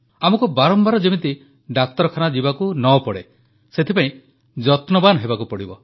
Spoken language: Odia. ଆମକୁ ବାରମ୍ବାର ଯେମିତି ଡାକ୍ତରଖାନା ଯିବାକୁ ନ ପଡ଼େ ସେଥିପ୍ରତି ଯତ୍ନବାନ ହେବାକୁ ପଡ଼ିବ